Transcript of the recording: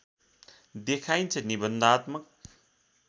देखाइन्छ निबन्धात्मक